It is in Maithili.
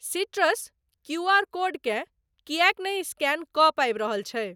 सीट्रस क्यू आर कोडकेँ किएक नहि स्कैन कऽ पाबि रहल छै?